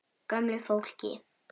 Gömlu fólki.